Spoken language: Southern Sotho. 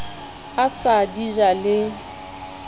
a sa di ja le